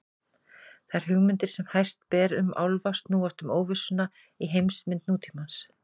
Þær hugmyndir sem hæst ber um álfa snúast um óvissuna í heimsmynd nútímans.